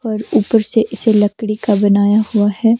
पर ऊपर से इसे लकड़ी का बनाया हुआ है।